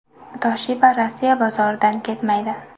Toshiba Rossiya bozoridan ketmaydi.